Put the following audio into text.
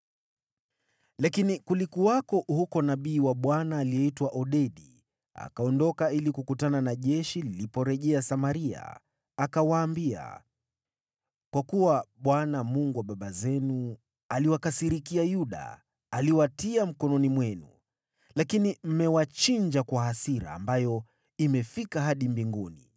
Lakini kulikuwako huko nabii wa Bwana aliyeitwa Odedi, akaondoka ili kukutana na jeshi liliporejea Samaria. Akawaambia, “Kwa kuwa Bwana , Mungu wa baba zenu, aliwakasirikia Yuda, aliwatia mikononi mwenu. Lakini mmewachinja kwa hasira ambayo imefika hadi mbinguni.